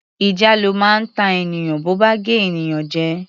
Ìjàlọ máa ń ta ènìyàn bo bá gé ènìyàn jẹ.